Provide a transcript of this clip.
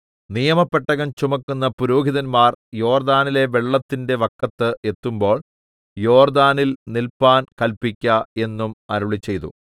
നിയമപെട്ടകം ചുമക്കുന്ന പുരോഹിതന്മാർ യോർദ്ദാനിലെ വെള്ളത്തിന്റെ വക്കത്ത് എത്തുമ്പോൾ യോർദ്ദാനിൽ നില്പാൻ കല്പിക്ക എന്നും അരുളിച്ചെയ്തു